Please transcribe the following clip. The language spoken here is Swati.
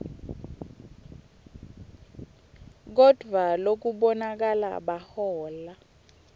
kodvwa lokubonakala bahola